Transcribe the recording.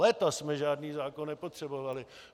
Léta jsme žádný zákon nepotřebovali.